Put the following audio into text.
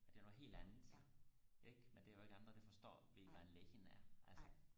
og det er noget helt andet ikke men der er jo ikke andre der forstår ved hvad en lechen er altså